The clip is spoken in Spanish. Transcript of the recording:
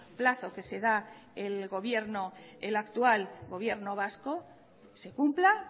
plazo que se da el actual gobierno vasco se cumpla